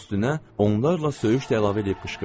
Üstünə onlarla söyüş də əlavə eləyib qışqırdı.